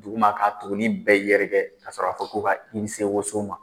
Duguma k'a tugunnin bɛɛ yɛrɛkɛ kasɔrɔ a fɔ k'u ka i se woso ma